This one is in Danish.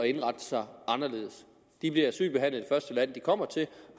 indrette sig anderledes de bliver asylbehandlet i det første land de kommer til